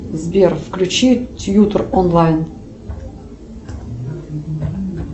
сбер включи тьютор онлайн